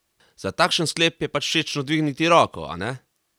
Za takšen sklep je pač všečno dvigniti roko, a ne?